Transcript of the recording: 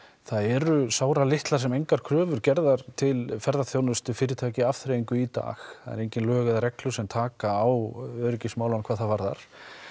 það eru sáralitlar sem engar kröfur gerðar til ferðaþjónustufyrirtækja afþreyingu í dag það eru engin lög eða reglur sem taka á öryggismálunum hvað það varðar